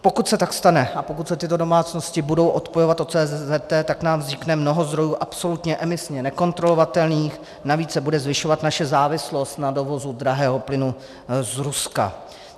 Pokud se tak stane a pokud se tyto domácnosti budou odpojovat od CZT, tak nám vznikne mnoho zdrojů absolutně emisně nekontrolovatelných, navíc se bude zvyšovat naše závislost na dovozu drahého plynu z Ruska.